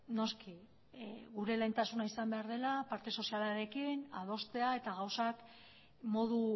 noski gure lehentasuna izan behar dela parte sozialarekin adostea eta gauzak modu